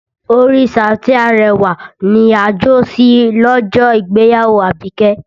Orin Saoti Arẹwà ni a jó sí lọ́jọ́ ìgbéyàwó Abike